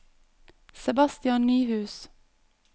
Sebastian Nyhus